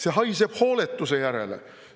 See haiseb hooletuse järele.